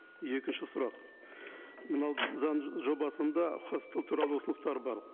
екінші сұрақ мынау заң жобасында хостел туралы ұсыныстар бар